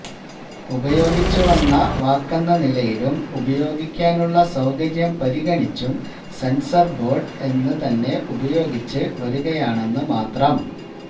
ഉപയോഗിച്ച് വന്ന വാക്കെന്ന നിലയിലും ഉപയോഗിക്കാനുള്ള സൌകര്യം പരിഗണിച്ചും സെന്സര് ബോഡ് എന്ന് തന്നെ ഉപയോഗിച്ച് വരുകയാണെന്ന് മാത്രം